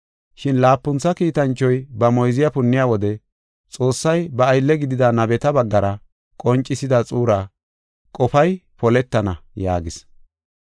Shin laapuntha kiitanchoy ba moyziya punniya wode Xoossay ba aylle gidida nabeta baggara qoncisida xuura qofay poletana” yaagis.